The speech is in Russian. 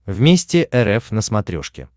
вместе рф на смотрешке